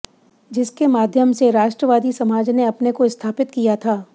जिससे माध्यम से राष्ट्रवादी समाज ने अपने को स्थापित किया था